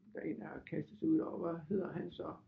Der en der har kastet sig ud og hvad hedder han så